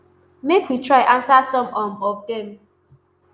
make we try ansa some um of dem